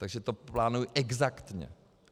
Takže to plánují exaktně.